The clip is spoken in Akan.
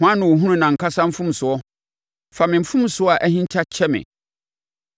Hwan na ɔhunu nʼankasa mfomsoɔ? Fa me mfomsoɔ a ahinta kyɛ me.